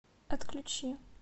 отключи